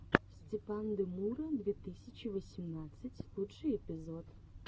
степандемура две тысячи восемнадцать лучший эпизод